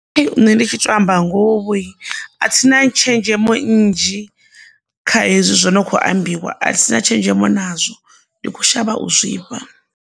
Nṋe ndi tshi tou amba ngoho a thina tshenzhemo nnzhi kha hezwi zwi no kho ambiwa, a thina tshenzhemo nazwo ndi kho shavha u zwifha.